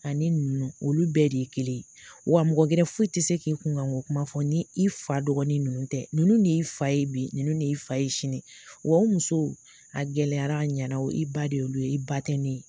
Ani ninnu olu bɛɛ de ye kelen ye wa mɔgɔ gɛrɛ foyi tɛ se k'i kunkan ko kuma fɔ, ni i fa dɔgɔnin ninnu tɛ, ninnu de y'i fa ye bi, ninnu de y'i fa ye sini wa o musow a gɛlɛyara, a ɲɛna i ba de y'olu ye i ba tɛ ne ye.